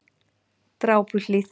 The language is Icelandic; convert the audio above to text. Drápuhlíð